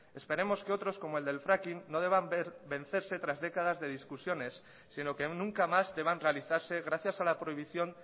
esperemos que otros como el del fracking no deban ver vencerse tras décadas de discusiones sino que nunca más deban realizarse gracias a la prohibición